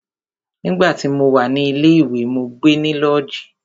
Nígbà tí mo wà ní ilé ìwé, mó gbe ní lọ́ọ̀jí.